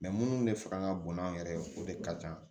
minnu de fanga ka bon n'an yɛrɛ ye o de ka kan